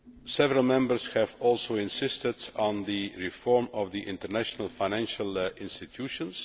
Several Members have also insisted on the reform of the international financial institutions.